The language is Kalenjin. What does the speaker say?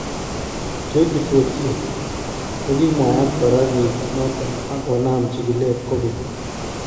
2014 , kokimwayta koraa kiit noton ak konaaam chikilet kokeny